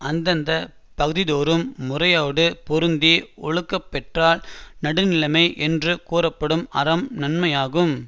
அந்தந்த பகுதிதோறும் முறையோடு பொருந்தி ஒழுகப்பெற்றால் நடுநிலைமை என்று கூறப்படும் அறம் நன்மையாகும்